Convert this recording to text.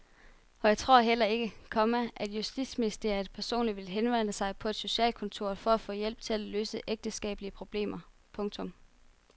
Og jeg tror heller ikke, komma at justitsministeren personligt ville henvende sig på et socialkontor for at få hjælp til at løse ægteskabelige problemer. punktum